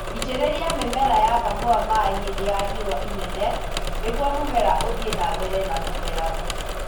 Itĩrĩria mĩmera ya kahũa maĩĩ hĩndĩ ya riũa inene nĩguo mũmera ũthie na mbere na kũmera